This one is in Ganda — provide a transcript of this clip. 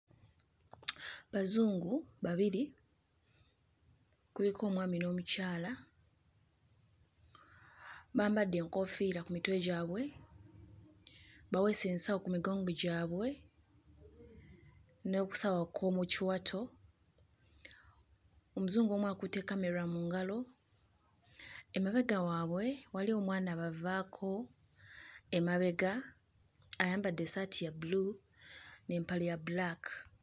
Bazungu babiri, kuliko omwami n'omukyala, bambadde enkoofiira ku mitwe gyabwe, baweese ensawo ku migongo gyabwe n'akasawo ak'omu kiwato, Omuzungu omu akutte kamera mu ngalo. Emabega waabwe waliwo omwana abavaako emabega, ayambadde essaati ya bbulu n'empale ya bbulaaka.